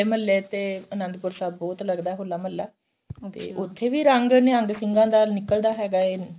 ਮਹੱਲੇ ਤੇ ਅਨੰਦਪੁਰ ਸਾਹਿਬ ਬਹੁਤ ਲੱਗਦਾ ਹੋਲਾ ਮਹੱਲਾ ਤੇ ਉੱਥੇ ਵੀ ਰੰਗ ਨਿਹੰਗ ਸਿੰਘਾ ਦਾ ਨਿਕਲਦਾ ਹੈਗਾ